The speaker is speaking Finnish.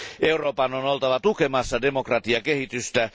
Euroopan on oltava tukemassa demokratiakehitystä.